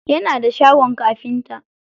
Yana da shagon kafinta.